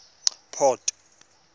port